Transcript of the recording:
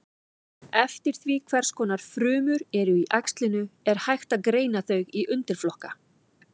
Eftir því hvers konar frumur eru í æxlinu er hægt að greina þau í undirflokka.